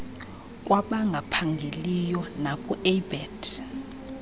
kwabangaphangeliyo naku abet